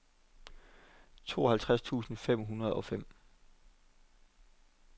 tooghalvtreds tusind fem hundrede og fem